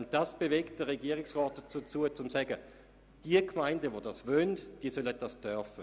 Und dies bewegt den Regierungsrat dazu, zu sagen, jene Gemeinden, die dies möchten, sollen das dürfen.